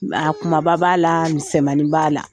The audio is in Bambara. a kumaba b'a la misɛmanin b'a la.